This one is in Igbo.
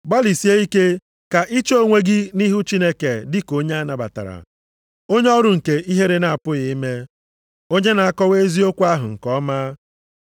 Gbalịsie ike ka iche onwe gị nʼihu Chineke dị ka onye a nabatara. Onye ọrụ nke ihere na-apụghị ime, onye na-akọwa eziokwu ahụ nke ọma.